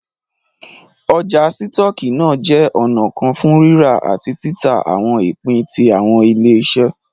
Ọ́jà sítoọki náà jẹ ọ̀nà kan fún rírà àti tìtà awọn ìpín tí awọn ile-iṣẹ